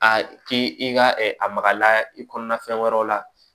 A k'i i ka a magala i kɔnɔna fɛn wɛrɛw la